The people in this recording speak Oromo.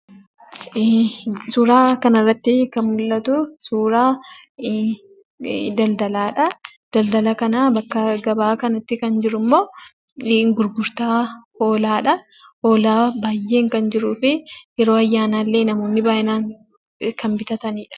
Suuraa kanarratti kan mul'atu, suuraa daldalaadha. daldala kana bakka gabaa kanatti kan jiru immoo gurgurtaa hoolaadha. hoolaan baay'een kan jiruu fi yeroo ayyaana illee namoonni baay'inaan kan bitatanidha.